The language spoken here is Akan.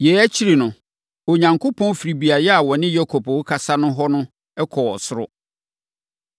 Yei akyiri no, Onyankopɔn firii beaeɛ a na ɔne Yakob rekasa hɔ no kɔɔ ɔsoro.